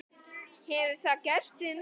Hefur það gerst við mig?